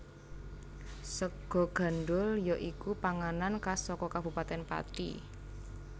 Sega gandhul ya iku panganan khas saka Kabupatèn Pati